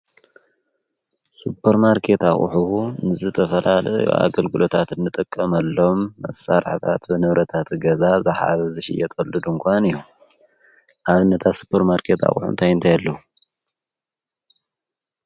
ሱጰር ማርከት ዉሕቡ ንዝተፈላል ኣገልግሎታት እንጠቀመሎም መሠራሕታት ነብረታቲ ገዛ ዝሓ ዝሽ የጠልድ እንኳን እዩ ኣብነታ ሱጰር ማርከት ዉሑንቲ ኣይንተየሉ?